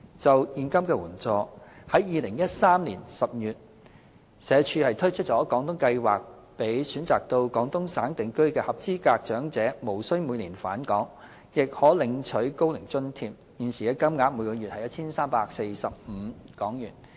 就現金援助，在2013年10月，社署推出"廣東計劃"，讓選擇到廣東省定居的合資格長者，無須每年返港，亦可領取高齡津貼，現時金額為每月 1,345 港元。